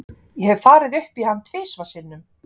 Ég hef farið upp í hann tvisvar sinnum.